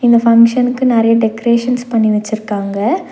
இந்த ஃபங்ஷனுக்கு நெறையா டெக்கரேஷன்ஸ் பண்ணி வச்சுருக்காங்க.